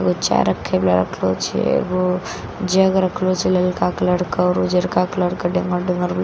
एगो चाय रखए वला रखल छे एगो जग रखलो छे ललका कलर केँ आओर उजरका कलर के डेमो डमर --